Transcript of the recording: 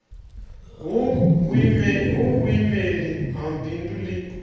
hu vhuimeli ha bindu ḽi